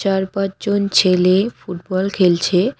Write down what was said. চারপাঁচ জন ছেলে ফুটবল খেলছে।